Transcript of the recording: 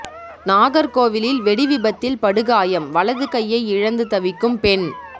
நாகர்கோவிலில் வெடி விபத்தில் படுகாயம் வலது கையை இழந்து தவிக்கும் பெண்